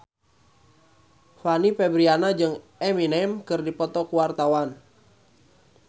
Fanny Fabriana jeung Eminem keur dipoto ku wartawan